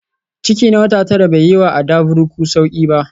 Ciki na wata tara bai yi wa Adavuruku sauƙi ba